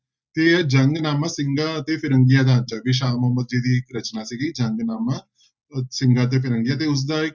ਤੇ ਜੰਗਨਾਮਾ ਸਿੰਘਾਂ ਅਤੇ ਫਿਰੰਗੀਆਂ ਸ਼ਾਹ ਮੁਹੰਮਦ ਜੀ ਦੀ ਰਚਨਾ ਸੀਗੀ ਜੰਗਨਾਮਾ, ਉਹ ਸਿੰਘਾਂ ਤੇ ਫਿਰੰਗੀਆਂ ਤੇ ਉਸਦਾ